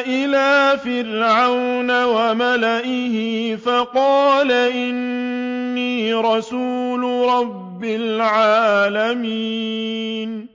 إِلَىٰ فِرْعَوْنَ وَمَلَئِهِ فَقَالَ إِنِّي رَسُولُ رَبِّ الْعَالَمِينَ